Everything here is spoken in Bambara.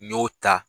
N y'o ta